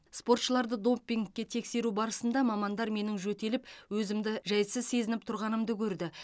спортшыларды допингке тексеру барысында мамандар менің жөтеліп өзімді жайсыз сезініп тұрғанымды көрді